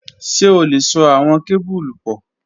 Ṣe o le so awọn kebulu pọ?